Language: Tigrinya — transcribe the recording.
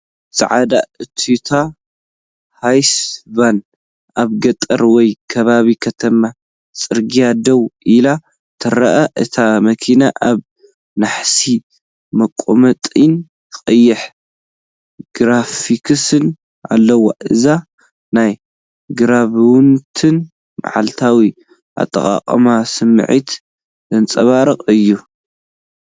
ጻዕዳ ቶዮታ ሃይስ ቫን ኣብ ገጠር ወይ ከባቢ ከተማ ጽርግያ ደው ኢላ ትርአ። እታ መኪና ኣብ ናሕሲ መቐመጢን ቀይሕ ግራፊክስን ኣለዋ። እዚ ናይ ግብራውነትን መዓልታዊ ኣጠቓቕማን ስምዒት ዘንጸባርቕ እዩ።